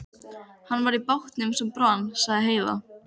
Hann var í bátnum sem brann, sagði Heiða.